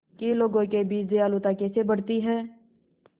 कि लोगों के बीच दयालुता कैसे बढ़ती है